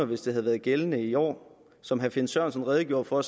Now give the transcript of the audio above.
hvis det havde været gældende i år som herre finn sørensen redegjorde for